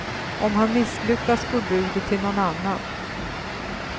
Om han misslyckas går budet till någon annan.